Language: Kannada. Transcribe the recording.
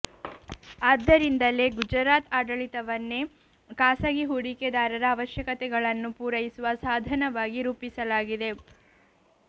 ಆದ್ದರಿಂದಲೇ ಗುಜರಾತ್ ಆಡಳಿತವನ್ನೇ ಖಾಸಗಿ ಹೂಡಿಕೆದಾರರ ಆವಶ್ಯಕತೆಗಳನ್ನು ಪೂರೈಸುವ ಸಾಧನವಾಗಿ ರೂಪಿಸಲಾಗಿದೆ